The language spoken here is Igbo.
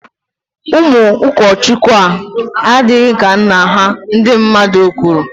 Ụmụ ụkọchukwu ahụ adịghị ka nna ha, ndi mmadụ kwuru